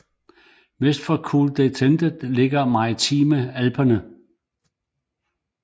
Vest for Col de Tende ligger De maritime Alpene